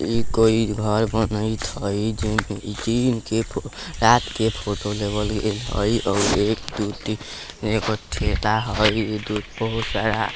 ई कोई घर बनाइत हाय जेमे जे इनके कोई के फोटो लगत हाय और एक ठेला हाय